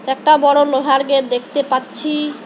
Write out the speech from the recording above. একটা বড় লোহার গেট দেখতে পাচ্ছি।